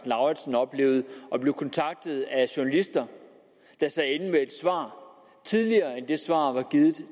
lauritzen oplevet at blive kontaktet af journalister der sad inde med et svar tidligere end det svar var givet til